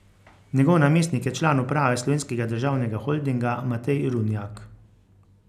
Njegov namestnik je član uprave Slovenskega državnega holdinga Matej Runjak.